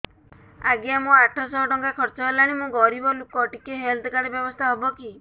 ଆଜ୍ଞା ମୋ ଆଠ ସହ ଟଙ୍କା ଖର୍ଚ୍ଚ ହେଲାଣି ମୁଁ ଗରିବ ଲୁକ ଟିକେ ହେଲ୍ଥ କାର୍ଡ ବ୍ୟବସ୍ଥା ହବ କି